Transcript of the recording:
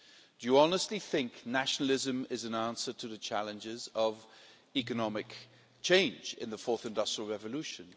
Do you honestly think nationalism is an answer to the challenges of economic change in the fourth industrial revolution?